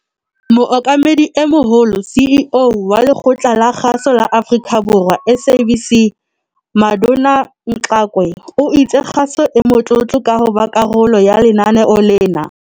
Mookamedi e Moholo, CEO, wa Lekgotla la Kgaso la Afrika Borwa, SABC, Madoda Mxakwe o itse kgaso e motlotlo ka hoba karolo ya lenaneo lena.